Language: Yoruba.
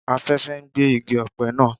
Afẹ́fẹ́ ń gbé igi ọ̀pẹ naa